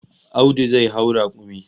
Audu zai hau rakumi